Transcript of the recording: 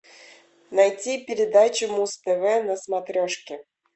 найти передачу муз тв на смотрешке